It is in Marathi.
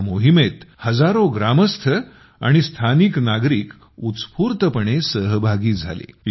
या मोहिमेत हजारो ग्रामस्थ आणि स्थानिक नागरिक उत्स्फूर्तपणे सहभागी झाले